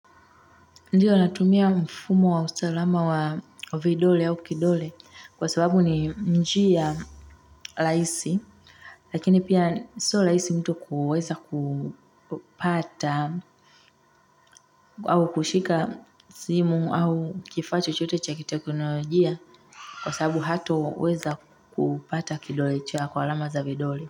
Ndiyo natumia mfumo wa usalama wa vidole au kidole kwa sababu ni njia rahisi. Lakini pia siyo rahisi mtu kuweza kupata au kushika simu au kifaa chochote cha kiteknolojia kwa sababu hataweza kupata kidole chake kwa alama za vidole.